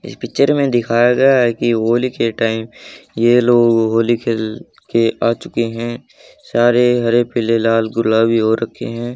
इस पिक्चर मे दिखाया गया है की होली के टाइम ये लोग होली खेल के आ चुके है। सारे हरे पीले लाल गुलाबी हो रखे है।